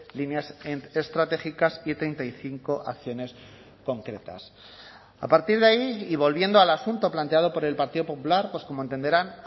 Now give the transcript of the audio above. líneas estratégicas y treinta y cinco acciones concretas a partir de ahí y volviendo al asunto planteado por el partido popular pues como entenderán